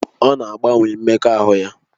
Ọ na-agbanwe mmekọahụ ya